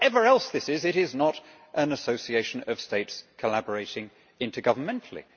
Whatever else this is, it is not an association of states collaborating intergovernmentally.